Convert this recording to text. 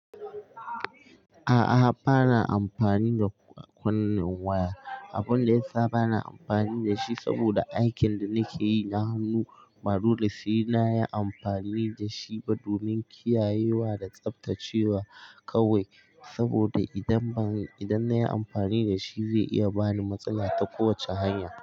A'a, ba na amfani da kunnen waya. Abun da ya sa ba na amfani da shi, saboda aikin da nake yi na hannu, ba dole sai na yi amfani da shi ba domin kiyayewa da tsaftacewa kawai. Saboda idan ban, idan na yi amfani da shi zai iya bani matsala ta kowacce hanya.